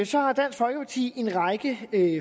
så har dansk folkeparti en række